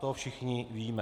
To všichni víme.